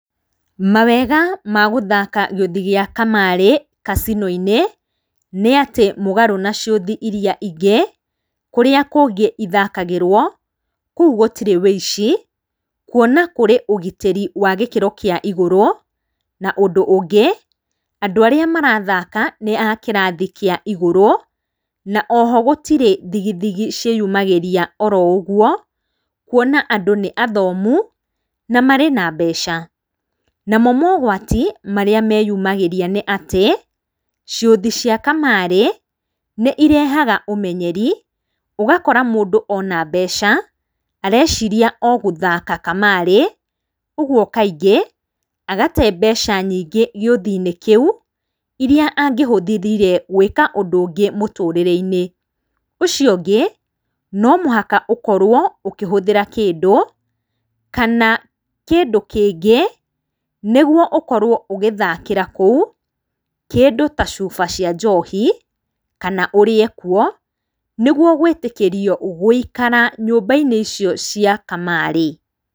Mawega ma gũthaka gĩũthi gĩa kamarĩ kasino-inĩ nĩatĩ mũgarũ na ciothi iria ĩngĩ kũrĩa kũngĩ ĩthakagĩrwo kũũ gũtĩre wĩici kũona kũri ũgitĩri wa gĩkĩro kĩa ĩgũrũ na ũndũ ũngĩ andũ arĩa marathaka nĩ a kĩrathĩ kĩa ĩgurũ na oho gũtĩri thigithigi cĩumagĩrĩa oro ũgwo kũona andũ nĩ athomũ na marĩ na mbeca namo mogwati marĩa meyũmagĩrĩa nĩ atĩ ciothi cia kamarĩ nĩirehaga ũmenyerĩ ũgakora mũndũ ona mbeca areciria o gũthaka kamarĩ ũgũo kaĩngĩ agate mbeca nyĩngĩ gĩothĩ-inĩ kĩu iria angĩhũthĩrire gwĩka ũndũ ũngĩ mũtũrĩrĩinĩ ucio ũngĩ no mũhaka ũkorwo ũkĩhuthĩra kĩndũ kana kĩndũ kĩngĩ nĩgũo ũkorwo ũgĩthakĩra kũũ kĩndũ ta cuba cia njohi kana ũrĩe kũũ nĩgwo gwitĩkĩrio gũikara nyũmba-inĩ icio cia kamarĩ.